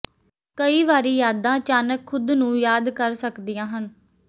ਕਈ ਵਾਰੀ ਯਾਦਾਂ ਅਚਾਨਕ ਖੁਦ ਨੂੰ ਯਾਦ ਕਰ ਸਕਦੀਆਂ ਹਨ